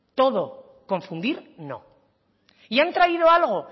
todo confundir no y han traído algo